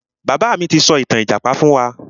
Bàbá mi ti sọ ìtàn ìjàpá fún wa.